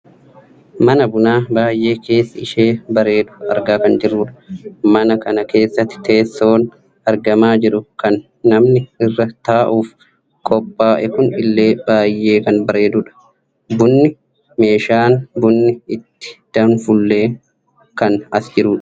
Mana bunaa baayyee keessi ishee bareedu argaa kan jirrudha. mana kana keessatti teessoon argamaa jiru kan namni irra taa'uuf qophaaa'e kun illee baayyee kan baredudha. bunni, meeshaan bunni ittiin danfullee kan as jirudha.